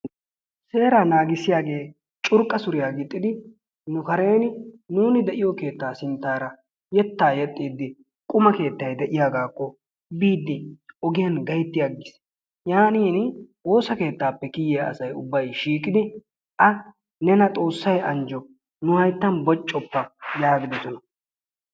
Heeraa naagissiyaagee curqqa suriyaa giixxidi nu kaareen nuni de'iyoo keettaa sinttara yeettaa yeexxidi qumaa keettay de'iyaagakko biidi ogiyaan gaytti agiis. Yaanin woosa keettaappe kiyiyaa asay ubbay shiiqidi a nena xoossay anjjo nu hayttan boccoppa yaagidoosona.